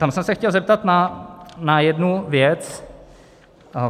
Tam jsem se chtěl zeptat na jednu věc.